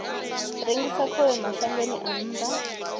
rengisa khovhe mashangoni a nnḓa